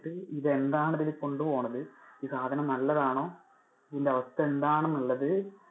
ഇത് എന്താണ് ഇതിൽ കൊണ്ടുപോകുന്നത്, ഈ സാധനം നല്ലതാണോ ഇതിന്‍ടെ അവസ്ഥ എന്താണെന്നുള്ളത്,